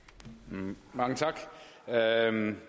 en eller anden